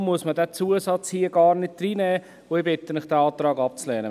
Darum muss man diesen Zusatz nicht reinnehmen, und ich bitte Sie, den Antrag abzulehnen.